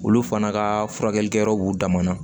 Olu fana ka furakɛlikɛ yɔrɔ b'u damana